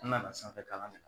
N nana sanfɛkalan kɛ